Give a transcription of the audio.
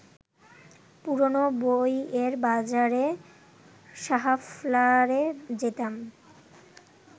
পুরোনো বইয়ের বাজারে সাহাফ্লারে যেতাম